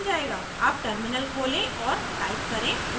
अब टर्मिनल खोलें और टाइप करें